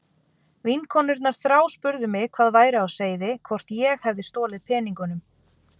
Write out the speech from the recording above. Vinkonurnar þráspurðu mig hvað væri á seyði, hvort ég hefði stolið peningunum.